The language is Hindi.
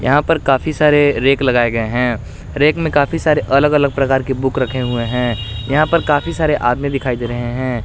यहां पर काफी सारे रैक लगाए गए हैं रैक में काफी सारे अलग अलग प्रकार की बुक रखे हुए हैं यहां पर काफी सारे आदमी दिखाई दे रहे हैं।